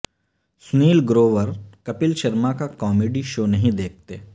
سنیل گروور کپل شرما کا comedy show نہیں دیکھتے